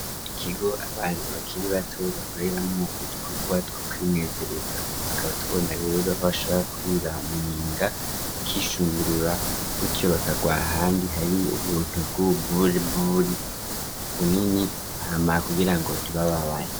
Ikigo abana bakiri bato bakoreramo udukogwa two kwimezereza tukaba tubona rero ahabashobora kurira mu nyinga bakishungurura butyo bakagwaa ahandi hari ubuntu bwuburbri bunini ntamara kugira ngo tubababaye.